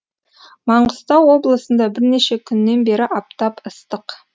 маңғыстау облысында бірнеше күннен бері аптап ыстық